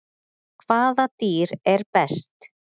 Hvaða dýr sér best?